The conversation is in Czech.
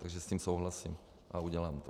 Takže s tím souhlasím a udělám to.